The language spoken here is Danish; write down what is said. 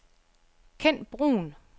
Ken Bruhn